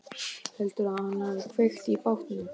Heldurðu að hann hafi kveikt í bátnum?